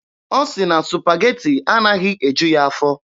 Ọ sị na Supageti anaghị eju ya afọ.